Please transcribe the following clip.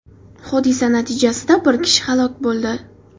Hodisa natijasida bir kishi halok bo‘ldi.